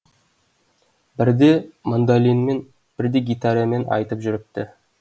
бірде мандолинмен бірде гитарамен айтып жүріпті